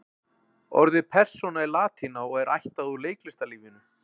Orðið persóna er latína og er ættað úr leiklistarlífinu.